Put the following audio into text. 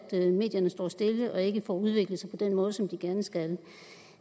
medierne står stille og ikke får udviklet sig på den måde som de gerne skal